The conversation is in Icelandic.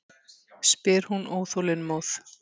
spyr hún óþolinmóð.